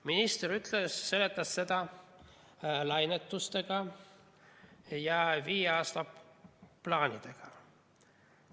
Minister seletas seda lainetusega ja viie aasta plaanidega.